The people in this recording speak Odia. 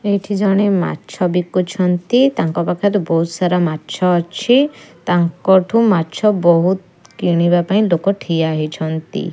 ଏଇଠି ଜଣେ ମାଛ ବିକୁଛନ୍ତି ତାଙ୍କ ପାଖରେ ବହୁତ୍ ସାରା ମାଛ ଅଛି ତାଙ୍କଠୁ ମାଛ ବହୁତ୍ କିଣିବା ପାଇଁ ଲୋକ ଛିଡା ହୋଇଛିନ୍ତି।